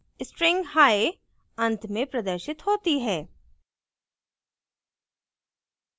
string hi अंत में प्रदर्शित होती है